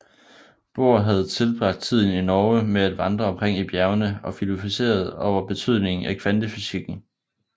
Bohr havde tilbragt tiden i Norge med at vandre omkring i bjergene og filosoferede over betydningen af kvantefysikken